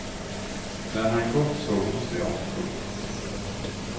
När han gått såg hon sig om. punkt